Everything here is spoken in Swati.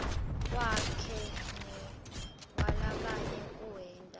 wakhe newalabanye kuwenta